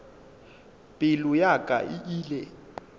pelo ya ka e ile